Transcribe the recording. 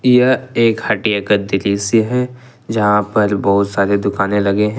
यह एक हटिया का दृश्य है जहां पर बहुत सारे दुकानें लगे हैं।